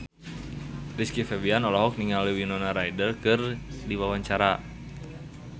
Rizky Febian olohok ningali Winona Ryder keur diwawancara